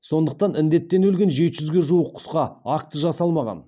сондықтан індеттен өлген жеті жүзге жуық құсқа акті жасалмаған